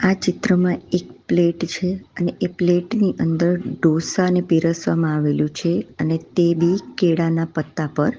આ ચિત્રમાં એક પ્લેટ છે અને એ પ્લેટ ની અંદર ડોસાને પીરસવામાં આવેલું છે અને તે બી કેળાના પત્તા પર.